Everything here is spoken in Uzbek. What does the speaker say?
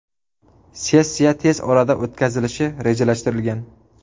Sessiya tez orada o‘tkazilishi rejalashtirilgan.